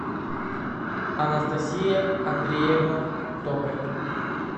анастасия андреевна токарь